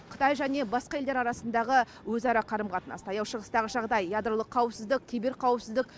қытай және басқа елдер арасындағы өзара қарым қатынас таяу шығыстағы жағдай ядролық қауіпсіздік киберқауіпсіздік